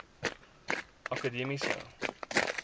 akademiese